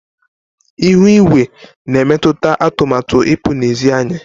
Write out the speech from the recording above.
Ihu igwe na emetụta atụmatụ ipụ na ezị́ anyi.